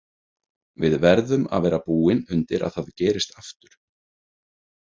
Við verðum að vera búin undir að það gerist aftur.